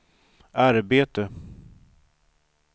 arbete